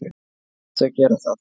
Já, þau gera það.